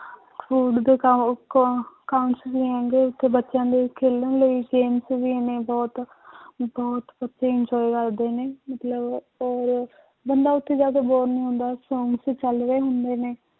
Food ਦੇ ਕਾ~ ਅਹ ਹੈਗੇ ਉੱਥੇ ਬੱਚਿਆਂ ਦੇ ਖੇਲਣ ਲਈ games ਵੀ ਨੇ ਬਹੁਤ ਬਹੁਤ ਬੱਚੇ enjoy ਕਰਦੇ ਨੇ ਮਤਲਬ ਆਪਾਂ ਹੋਰ ਬੰਦਾ ਉੱਥੇ ਜਾ ਕੇ bore ਨੀ ਹੁੰਦਾ ਚੱਲ ਰਹੇ ਹੁੰਦੇ ਨੇ